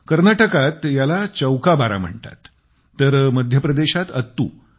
कर्नाटकात याला चौकाबारा म्हणतात तर मध्यप्रदेशात अत्तु